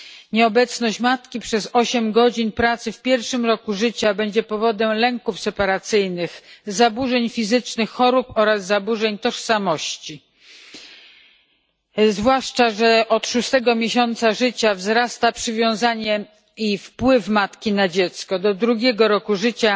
Nieobecność matki przez osiem godzin pracy w pierwszym roku życia będzie powodem lęków separacyjnych, zaburzeń fizycznych, chorób oraz zaburzeń tożsamości, zwłaszcza że od szóstego miesiąca życia wzrasta przywiązanie i wpływ matki na dziecko, a do drugiego roku życia